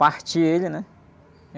Partir ele, né?